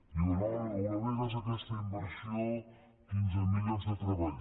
diuen oh l’eurovegas aquesta inversió quinze mil llocs de treball